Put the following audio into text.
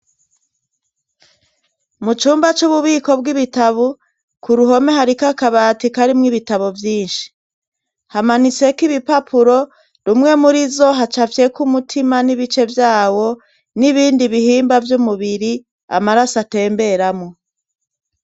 Mu cumba c'ububiko bw'ibitabu ku ruhome hariko akabati karimwo ibitabo vyinshi hamanitseko ibipapuro rumwe muri zo haca avyeko umutima n'ibice vyawo n'ibindi bihimba vy'umubiri amaraso atemberamwo.